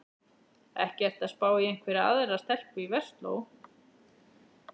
Ekki ertu að spá í einhverja aðra stelpu í Versló?